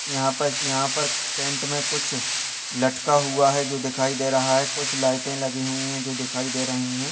यहाँ पर- यहाँ पर टेंट मे कुछ लटका हुआ है जो दिखाई दे रहा है कुछ लाईटें लगी हुई है जो दिखाई दे रही है।